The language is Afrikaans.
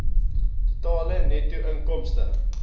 totale netto inkomste